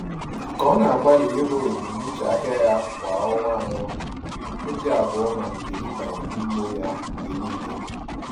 Ka ọ na-agbalị iru ebumnuche ahịa ya kwa ọnwa anọ, obi abụọ malitere ịbanye n’ime ya mgbe niile.